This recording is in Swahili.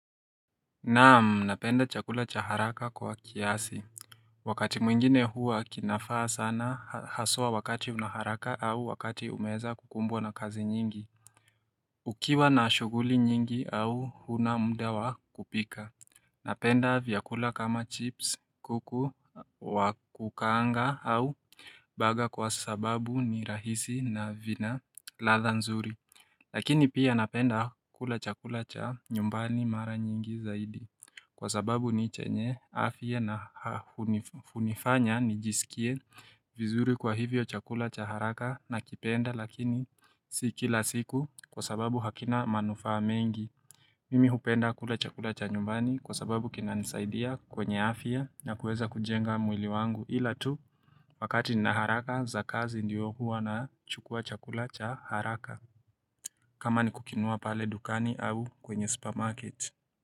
Naam napenda chakula cha haraka kwa kiasi. Wakati mwingine huwa kinafaa sana haswa wakati unaharaka au wakati umeza kukumbwa na kazi nyingi. Ukiwa na shuguli nyingi au huna mda wa kupika. Napenda vyakula kama chips kuku wakukaanga au baga kwa sababu ni rahisi na vina latha nzuri. Lakini pia napenda kula chakula cha nyumbani mara nyingi zaidi Kwa sababu ni chenye afye na. Hunifanya nijisikie vizuri kwa hivyo chakula cha haraka na kipenda lakini siki la siku kwa sababu hakina manufa mengi. Mimi hupenda kula chakula cha nyumbani kwa sababu kina nisaidia kwenye afye na kuweza kujenga mwili wangu ila tu. Wakati ni naharaka za kazi ndiyo huwa na chukua chakula cha haraka. Kama ni kukinua pale dukani au kwenye supermarket.